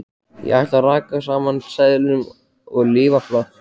Ég ætla að raka saman seðlum og lifa flott.